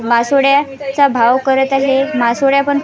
मासवड्या चा भाव करत आहे मासवड्या पण --